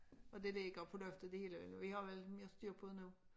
Og det ligger på loftet det hele vi har vel mere styr på det nu